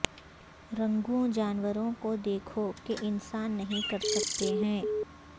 رنگوں جانوروں کو دیکھو کہ انسان نہیں کر سکتے ہیں